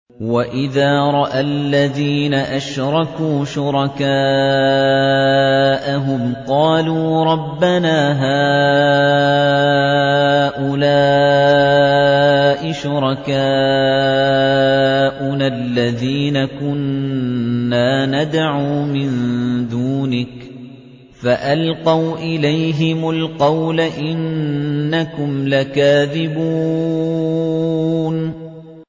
وَإِذَا رَأَى الَّذِينَ أَشْرَكُوا شُرَكَاءَهُمْ قَالُوا رَبَّنَا هَٰؤُلَاءِ شُرَكَاؤُنَا الَّذِينَ كُنَّا نَدْعُو مِن دُونِكَ ۖ فَأَلْقَوْا إِلَيْهِمُ الْقَوْلَ إِنَّكُمْ لَكَاذِبُونَ